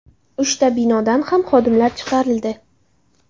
Uchta binodan ham xodimlar chiqarildi.